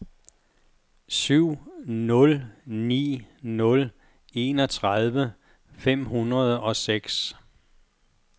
syv nul ni nul enogtredive fem hundrede og seks